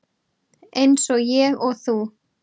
Eins og ég og þú.